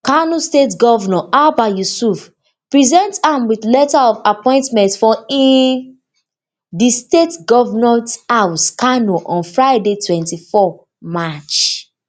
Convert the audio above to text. kano state govnor abba yusuf present am wit im letter of appointment for um di state government house kano on friday twenty-four march